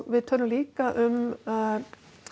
við tölum líka um að